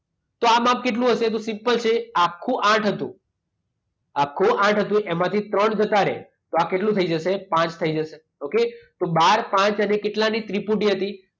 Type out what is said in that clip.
તો આ માપ કેટલું હશે તો સિમ્પલ છે આખું આઠ હતું. આખું આઠ હતું. એમાંથી ત્રણ ઘટાડે, તો આ કેટલું થઈ જશે? પાંચ થઈ જશે. ઓકે? તો બાર, પાંચ અને કેટલાની ત્રિપુટી હતી?